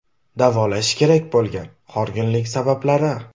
Davolash kerak bo‘lgan horg‘inlik sabablari.